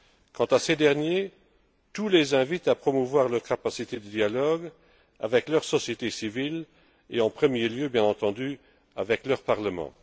Quant à ces derniers, tout les invite à promouvoir leur capacité de dialogue avec leur société civile et, en premier lieu, bien entendu, avec leur parlement.